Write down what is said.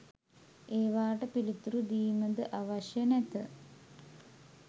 ඒවාට පිළිතුරු දීමද අවශ්‍ය නැත